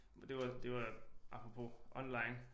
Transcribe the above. Men det var det var apropos online